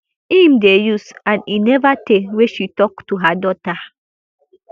im dey use and e neva tey wey she tok to her daughter